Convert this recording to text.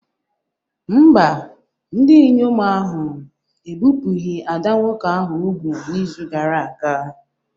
Mba, ndị inyom ahụ ebipụghị ada nwoke ahụ úgwù n'izu gara aga